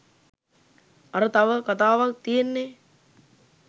අර තව කතාවක් තියෙන්නේ